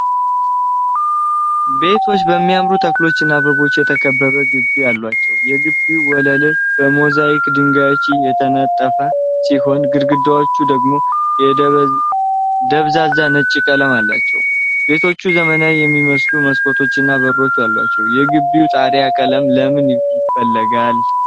ቤቶች በሚያማምሩ ተክሎችና አበቦች የተከበበ ግቢ አላቸው። የግቢው ወለል በሞዛይክ ድንጋዮች የተነጠፈ ሲሆን፣ ግድግዳዎቹ ደግሞ ደብዛዛ ነጭ ቀለም አላቸው። ቤቶቹ ዘመናዊ የሚመስሉ መስኮቶችና በሮች አሏቸው። የግቢው ጣሪያ ቀለም ለምን ይፈልጋል?